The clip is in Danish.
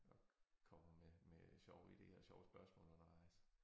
Og kommer med med sjove ideer sjove spørgsmål undervejs